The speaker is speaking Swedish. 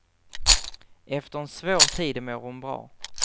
Efter en svår tid mår hon bra.